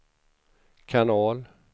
kanal